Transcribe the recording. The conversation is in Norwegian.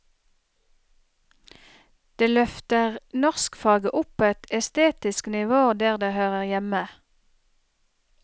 Det løfter norskfaget opp på et estetisk nivå der det hører hjemme.